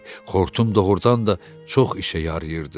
Xortum doğurdan da çox işə yarayırdı.